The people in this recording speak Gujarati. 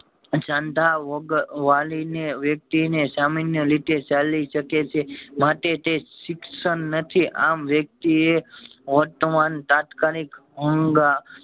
સાંધા વગર વળી ને વ્યક્તિ ને સામાન્ય રીતે ચાલી શકે છે માટે તે શિક્ષણ નથી આમ વ્યકતિ એ વર્તમાન તાત્કાલિક હોન